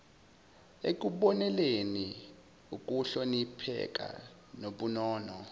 ukubonelela ukuhlonipheka nobunono